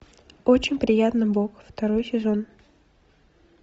очень приятно бог второй сезон